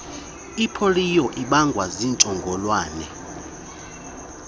ipoliyo ibangwa ziintsholongwane